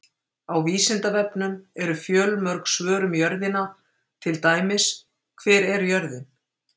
Á Vísindavefnum eru fjölmörg svör um jörðina, til dæmis: Hver er jörðin?